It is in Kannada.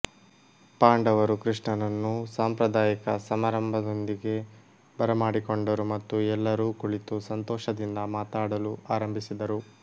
ಪಾಂಡವರು ಕೃಷ್ಣನನ್ನು ಸಾಂಪ್ರದಾಯಿಕ ಸಮಾರಂಭದೊಂದಿಗೆ ಬರಮಾಡಿಕೊಂಡರು ಮತ್ತು ಎಲ್ಲರೂ ಕುಳಿತು ಸಂತೋಷದಿಂದ ಮಾತಾಡಲು ಆರಂಭಿಸಿದರು